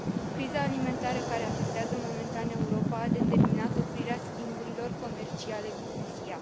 Criza alimentară care afectează momentan Europa a determinat oprirea schimburilor comerciale cu Rusia.